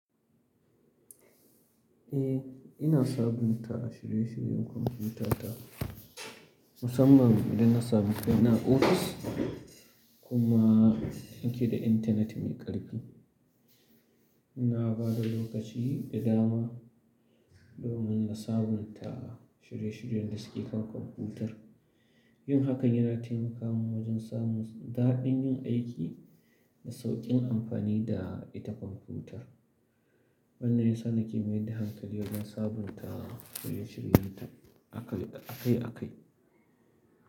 Eh, ina sabunta shirye-shiryen kwamfuta ta. Musamman idan na samu kai na a office. Kuma nake da internet mai ƙarfi. Ina bada lokaci da dama domin sabunta shirye-shiryen da suke kan kwamfutar. Yin hakan yana taimaka mun wajen samun daɗin yin aiki da sauƙin amfani da ita kwamfutar. Abun da yasa nake mai da hankali wajen sabunta shirye-shiryen ta akai akai.